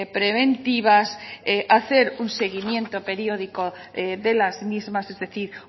preventivas hacer un seguimiento periódico de las mismas es decir